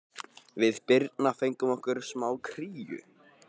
Við Birna fengum okkur smá kríu.